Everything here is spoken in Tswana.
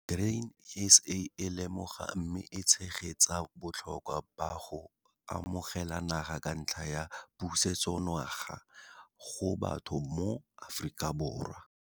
Grain SA e lemoga mme e tshegetsa botlhokwa ba go amogela naga ka ntlha ya pusetsonaga go batho mo Afrikaborwa.